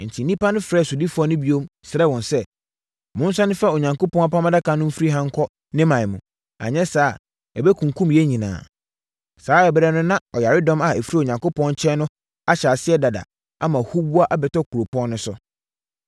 Enti, nnipa frɛɛ sodifoɔ no bio, srɛɛ wɔn sɛ, “Monsane mfa Onyankopɔn Apam Adaka no mfiri ha nkɔ ne ɔman mu, anyɛ saa a, ɛbɛkunkum yɛn nyinaa.” Saa ɛberɛ no na ɔyaredɔm a ɛfiri Onyankopɔn nkyɛn no ahyɛ aseɛ dada ama huboa abɛtɔ kuropɔn no so.